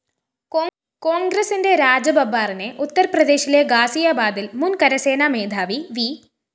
കോണ്‍ഗ്രസിന്റെ രാജബബ്ബാറിനെ ഉത്തര്‍പ്രദേസിശിലെ ഗാസിയാബാദില്‍ മുന്‍ കരസേനാ മേധാവി വി